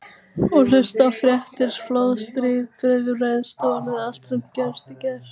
Og hlusta á fréttir: flóð, stríð, bifreið stolið allt sem gerðist í gær.